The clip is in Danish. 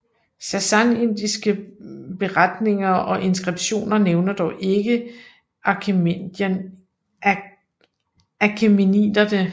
Sassanidiske beretninger og inskriptioner nævner dog ikke achæmeniderne